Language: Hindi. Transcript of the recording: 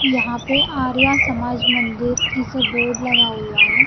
यहां पे आर्या समाज मंदिर ऐसे बोर्ड लगा हुआ है।